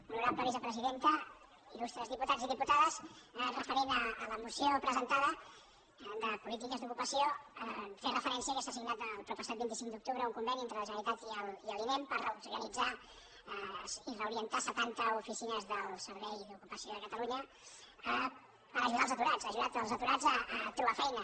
honorable vice·presidenta il·lustres diputats i diputades referent a la moció presentada de polítiques d’ocupació fer refe·rència que s’ha signat el proppassat vint cinc d’octubre un conveni entre la generalitat i l’inem per reorganitzar i reorientar setanta oficines del servei d’ocupació de catalunya per ajudar els aturats per ajudar els aturats a trobar feina